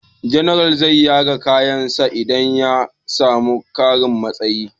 General zai yaga kayan sa idan ya samu ƙarin muƙami